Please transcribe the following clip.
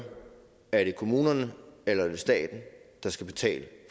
er det kommunerne eller er det staten der skal betale